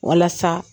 Walasa